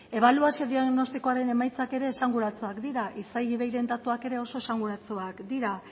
ebaluazio diagnostikoaren emaitzak ere esanguratsuak dira isei iveiren datuak ere oso esanguratsuak dira